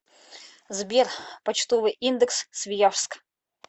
сбер почтовый индекс свияжск